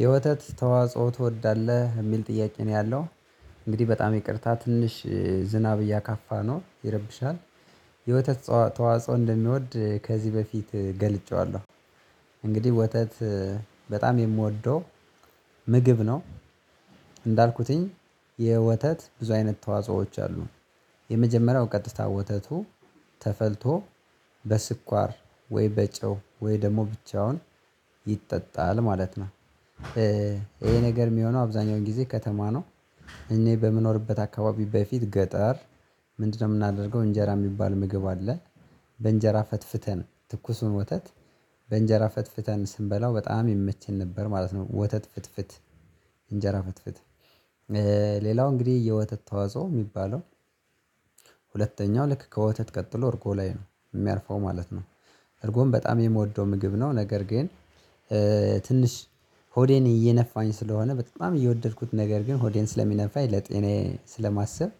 የወተት ተዋጽኦ ትወዳለህ የሚል ጥያቄ ነው ያለው? እንግዲህ በጣም ይቅርታ ትንሽ ዝናብ እያካፋ ነው ይረብሻል። የወተት ተዋጽኦ እንደምወድ ከዚህ በፊት ገልጬዋለሁ። እንግዲህ ወተት በጣም የምወደው ምግብ ነው። እንዳልኩትኝ የወተት ብዙ አይነት ተዋጾዎች አሉ። የመጀመሪያው ቀጥታ ወተቱ ተፈልቶ በስኳር ወይ በጨው ወይ ደግሞ ብቻውን ይጠጣል ማለት ነው። ይሄ ነገር የሚሆነው አብዛኛውን ጊዜ ከተማ ነው። እኔ በምኖርበት አካባቢ በፊት ገጠር ምንድነው የምናደርገው እንጀራ የሚባል ምግብ አለ። በእንጀራ ፈትፍተን ትኩሱን ወተት በእንጀራ ፈትፍተን ስንበላው በጣም የምቸን ነበር ማለት ነው። ወተት ፍትፍት እንጀራ ፍትፍት። ሌላው እንግዲህ የወተት ተዋጽኦ የሚባለው። ሁለተኛው ልክ ከወተት ቀጥሎ እርጎ ላይ ነው የሚያርፈው ማለት ነው። እርጎም በጣም የምወደው ምግብ ነው ነገር ግን። ትንሽ ሆዴን እየነፋኝ ስለሆነ በጣም እየወደድኩት ነገር ግን ሆዴን ስለሚነፋኝ ለጤኔ ስለማስብ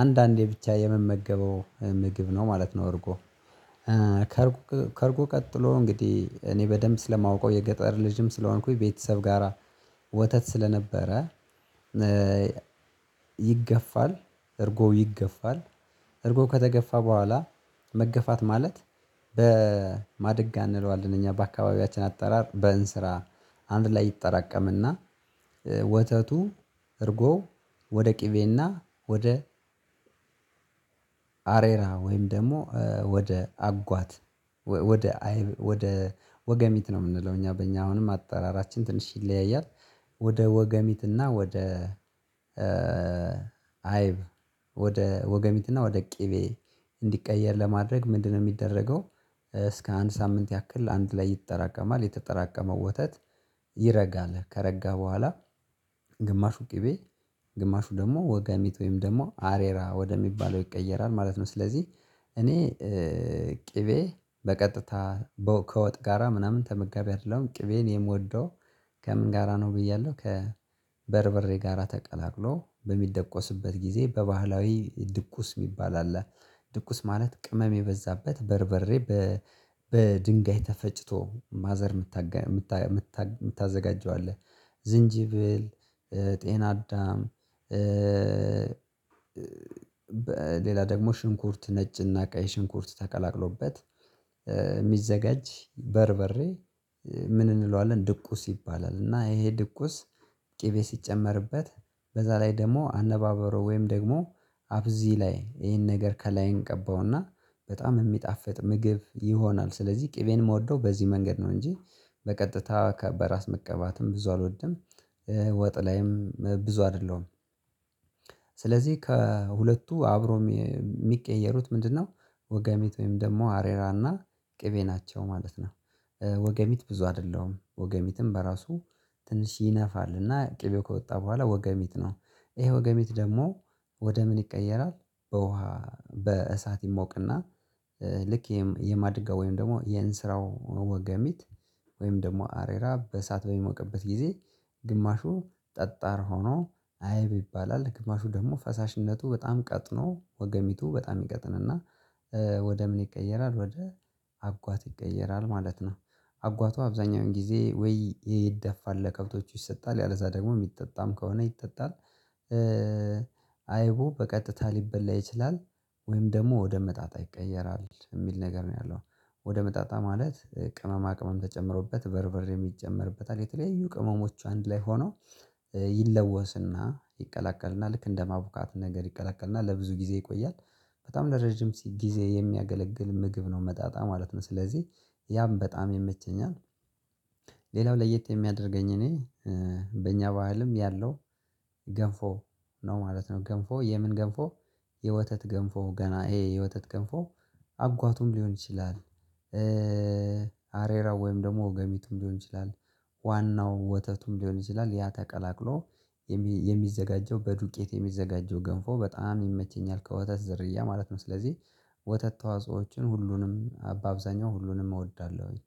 አንዳንዴ ብቻ የመመገበው ምግብ ነው ማለት ነው። አርጎ። ከእርጎ ከእርጎ ቀጥሎ እንግዲህ እኔ በደንብ ስለማውቀው የገጠር ልጅም ስለሆንኩኝ ቤተሰብ ጋራ ወተት ስለነበረ። ይገፋል እርጎ ይገፋል። እርጎ ከተገፋ በኋላ መገፋት ማለት በማደግ አንለው አንደኛ በአካባቢያችን አጠራር በእንስራ። አንድ ላይ ይጠራቀም እና። ወተቱ እርጎ ወደ ቅቤ እና ወደ አሬራ ወይም ደግሞ ወደ አጓት ወደ ወደ ወገሚት ነው የምንለው እኛ በእኛ አሁንም አጠራራችን ትንሽ ይለያያል። ወደ ወገሚት እና ወደ አይብ። ወደ ወገሚት እና ወደ ቅቤ እንዲቀየር ለማድረግ ምንድነው የሚደረገው? እስከ አንድ ሳምንት ያክል አንድ ላይ ይጠራቀማል የተጠራቀመው ወተት ይረጋል ከረጋ በኋላ። ግማሹ ቅቤ ግማሹ ደግሞ ወጋሚት ወይም ደግሞ አሬራ ወደሚባለው ይቀየራል ማለት ነው። ስለዚህ እኔ ቅቤ በቀጥታ ከወጥ ጋራ ምናምን ተመጋቢ አይደለሁም ቅቤን የምወደው። ከምን ጋራ ነው ብያለሁ? ከበርበሬ ጋራ ተቀላቅሎ በሚደቆስበት ጊዜ በባህላዊ ድቁስ የሚባል አለ። ድቁስ ማለት ቅመም የበዛበት በርበሬ። በድንጋይ ተፈጭቶ ማዘር የምታዘጋጀው አለ። ዝንጅብል ጤና አዳም። በሌላ ደግሞ ሽንኩርት ነጭ እና ቀይ ሽንኩርት ተቀላቅሎበት የሚዘጋጅ በርበሬ። ምን እንለዋለን ድቁስ ይባላል። እና ይሄ ድቁስ ቅቤ ሲጨመርበት በዛ ላይ ደግሞ አነባበሩ ወይም ደግሞ አብዚ ላይ ይሄን ነገር ከላይ እንቀባው እና በጣም የሚጣፍጥ ምግብ ይሆናል። ስለዚህ ቅቤን የምወደው በዚህ መንገድ ነው እንጂ በቀጥታ በራስ መቀባትም ብዙ አልወድም። ወጥ ላይም ብዙ አይደለሁም። ስለዚህ ከሁለቱ አብሮ የሚቀየሩት ምንድነው? ወገሚት ወይም ደግሞ አሬራ እና ቅቤ ናቸው ማለት ነው። ወገሚት ብዙ አይደለሁም ወገሚትም በራሱ ትንሽ ይነፋል እና ቅቤው ከወጣ በኋላ ወገሚት ነው። ይሄ ወገሚት ደግሞ ወደ ምን ይቀየራል? በውሃ በእሳት ይሞቅና ልክ የማድጋ ወይም ደግሞ የእንስራው ወገሚት ወይም ደግሞ አሬራ በእሳት በሚሞቅበት ጊዜ ግማሹ ጠጣር ሆኖ አይብ ይባላል። ግማሹ ደግሞ ፈሳሽነቱ በጣም ቀጥኖ ወገሚቱ በጣም ይቀጥን እና ወደ ምን ይቀየራል ወደ አጓት ይቀየራል ማለት ነው። አጓቱ አብዛኛውን ጊዜ ወይ ይደፋል ለከብቶቹ ይሰጣል ያለዛ ደግሞ የሚጠጣም ከሆነ ይጠጣል። አይቡ በቀጥታ ሊበላ ይችላል። ወይም ደግሞ ወደ መጣጣል ይቀየራል የሚል ነገር ነው ያለው። ወደ መጣጣ ማለት ቅመማ ቅመም ተጨምሮበት በርብሬም የጨመርበታል የተለያዩ ቅመሞቹ አንድ ላይ ሆነው ይለወስ እና ይቀላቀልና ልክ እንደማቡካት ነገር ይቀላቀልና ለብዙ ጊዜ ይቆያል። በጣም ለረጅም ጊዜ የሚያገለግል ምግብ ነው መጣጣ ማለት ነው። ስለዚህ ያም በጣም የመቸኛል። ሌላው ለየት የሚያደርገኝ እኔ በእኛ ባህልም ያለው ገንፎ ነው ማለት ነው። ገንፎ የምን ገንፎ የወተት ገንፎ ገና ይሄ የወተት ገንፎ አጓቱም ሊሆን ይችላል። አሬራ ወይም ደግሞ ወገሚቱም ሊሆን ይችላል። ዋናው ወተቱም ሊሆን ይችላል ያ ተቀላቅሎ የሚዘጋጀው በዱቄት የሚዘጋጀው ገንፎ በጣም ይመቸኛል ከወተት ዘርያ ማለት ነው። ስለዚህ ወተት ተዋጾዎችን ሁሉንም አብዛኛው ሁሉንም እወዳለሁኝ